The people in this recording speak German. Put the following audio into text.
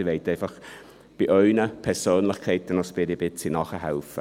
Sie wollen einfach ein bisschen bei Ihren Persönlichkeiten nachhelfen.